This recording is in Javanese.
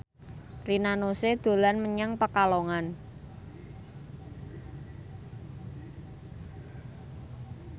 Rina Nose dolan menyang Pekalongan